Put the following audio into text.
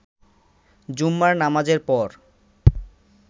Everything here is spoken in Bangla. জুম্মার নামাজের পর